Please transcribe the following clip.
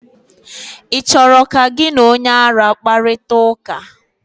ị chọrọ ka gị na onye ara kparịta ụka?